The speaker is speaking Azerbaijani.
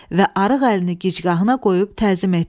Və arıq əlini gicgahına qoyub təzim etdi.